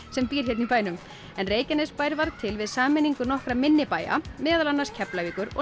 sem býr hérna í bænum en Reykjanesbær varð til við sameiningu nokkurra minni bæja meðal annars Keflavíkur og